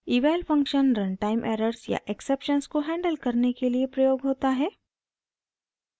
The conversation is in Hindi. eval फंक्शन रनटाइम एरर्स या एक्सेप्शन्स को हैंडल करने के लिए प्रयोग होता है